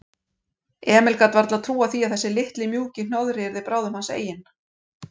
Emil gat varla trúað því að þessi litli, mjúki hnoðri yrði bráðum hans eigin.